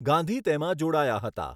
ગાંધી તેમાં જોડાયા હતા.